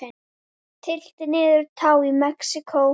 Tylltir niður tá í Mexíkó.